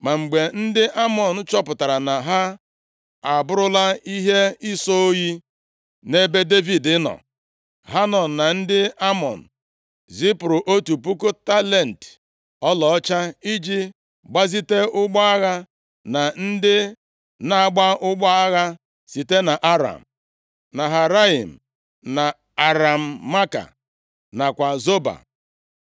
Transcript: Ma mgbe ndị Amọn chọpụtara na ha abụrụla ihe ịsọ oyi nʼebe Devid nọ, Hanọn na ndị Amọn zipụrụ otu puku talenti ọlaọcha iji gbazite ụgbọ agha na ndị na-agba ụgbọ agha site na Aram Naharaim, na Aram Maaka, nakwa Zoba.